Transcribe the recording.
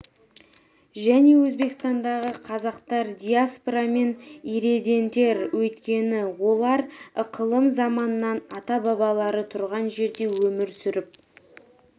және өзбекстандағы қазақтар диаспора емес ирредентер өйткені олар ықылым заманнан ата-бабалары тұрған жерде өмір сүріп